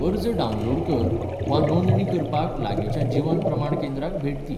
अर्ज डावनलोड कर वा नोंदणी करपाक लागींच्या जीवन प्रमाण केंद्राक भेट दी.